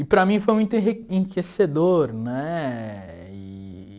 E para mim foi muito enriquecedor, né? Eee